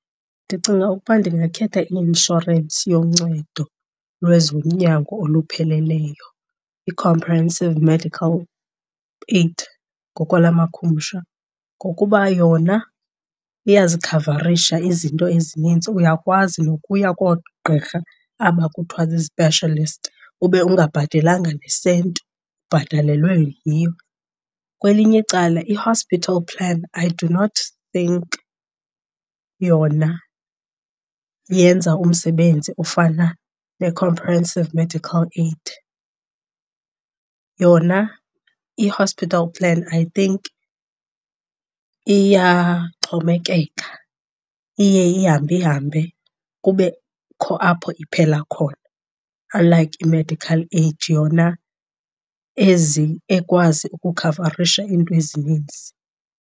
Ndicinga ukuba ndingakhetha i-inshorensi yoncedo lwezonyango olupheleleyo, i-comprehensive medical aid ngokwamakhumsha, ngokuba yona iyazikhavarisha izinto ezininzi, uyakwazi nokuya koogqirha aba kuthiwa zii-specialist ube ungabhatelanga nesenti ubhatalelwe yiyo. Kwelinye icala i-hospital plan I do not think yona yenza umsebenzi ofana ne-comprehensive medical aid. Yona i-hospital plan I think iyaxhomekeka, iye ihambe ihambe kubekho apho iphela khona, unlike i-medical aid yona ekwazi ukukhavarisha iinto ezininzi.